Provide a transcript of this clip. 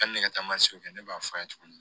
Hali ne ka taa kɛ ne b'a f'a ye tuguni